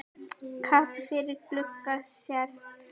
Kappi yfir glugga sést.